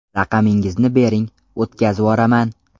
Raqamingizni bering, o‘tkazvoraman.